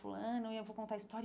Fulano, e eu vou contar a história.